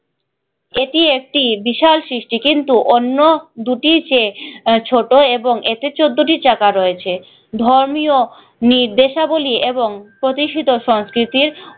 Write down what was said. এটি একটি বিশাল সৃষ্টি কিন্তু অন্য দুটির চেয়ে আহ ছোট এবং এতে চোদ্দটি চাকা রয়েছে ধর্মীয় নির্দেশাবলি এবং প্রতিষ্ঠিত সংস্কৃতির